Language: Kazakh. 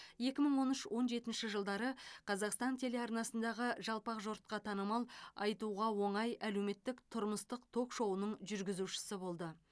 екі мың он үш он жетінші жылдары қазақстан телеарнасындағы жалпақ жұртқа танымал айтуға оңай әлеуметтік тұрмыстық ток шоуының жүргізушісі болды